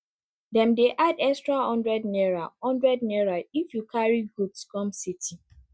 dem dey add extra hundred naira hundred naira if you carry goods come city